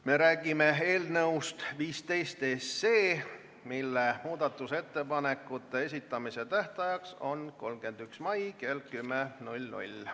Me räägime eelnõust 15, mille muudatusettepanekute esitamise tähtaeg on 31. mail kell 10.